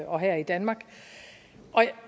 og her i danmark og